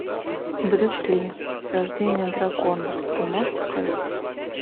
брюс ли рождение дракона ты можешь показать